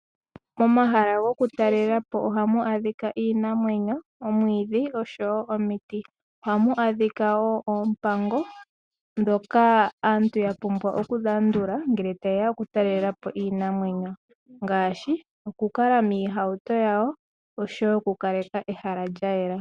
Momahala gokutalela po ohamu adhika iinamwenyo, omwiidhi, osho wo omiti, ohamu adhika wo oompango dhoka aantu yapumbwa okulandula ngele tayeya okutalela po iinamwenyo ngaashi, okukala miihauto yawo osho wo okukaleka ehala lyayela.